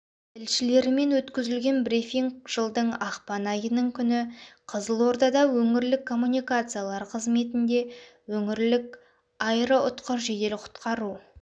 тілшілерімен өткізілген брифинг жылдың ақпан айының күні қызылордада өңірлік коммуникациялар қызметінде оңтүстік өңірлік аэроұтқыр жедел құтқару